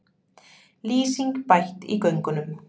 Lýsing bætt í göngunum